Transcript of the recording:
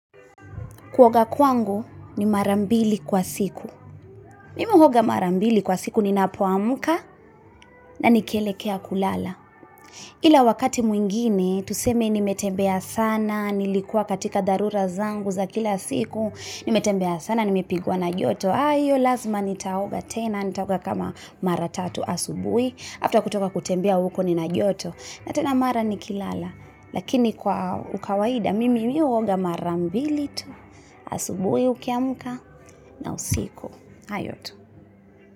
Kuoga kwangu ni mara mbili kwa siku. Mimi huoga mara mbili kwa siku ninapoamka na nikielekea kulala ila wakati mwingine tuseme nimetembea sana, nilikuwa katika dharura zangu za kila siku, nimetembea sana nimipegwa na joto, hiyo lazima nitaoga tena nitaoga kama mara tatu, asubuhi after kutoka kutembea huko nina joto na tena mara nikilala lakini kwa ukawaida mimi huoga mara mbili tu asubuhi ukiamka na usiku hayo tu.